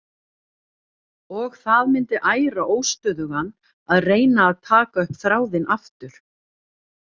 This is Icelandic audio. Og það myndi æra óstöðugan að reyna að taka upp þráðinn aftur.